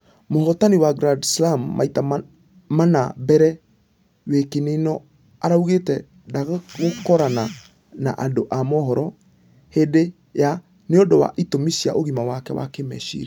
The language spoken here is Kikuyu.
Mũhotani wa grand slam maita mana mbere wikinĩno araugĩte ndagũkorana na andũ a mũhoro hĩndĩ ya ....nĩũndũ wa itũmi cia ũgima wake wa kĩmeciria.